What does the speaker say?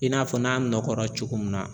I n'a fɔ n'a nɔkɔra cogo min na